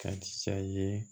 Ka ye